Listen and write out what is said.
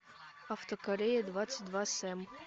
автокорея двадцать два сэм